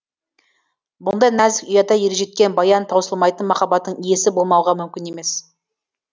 бұндай нәзік ұяда ержеткен баян таусылмайтын махаббаттың иесі болмауға мүмкін емес